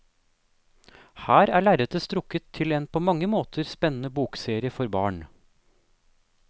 Her er lerretet strukket til en på mange måter spennende bokserie for barn.